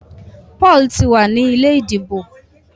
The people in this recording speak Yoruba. Paul tí wá ní ilé ìdìbò.